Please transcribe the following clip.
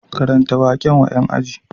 Karanta waƙen wa ƴan aji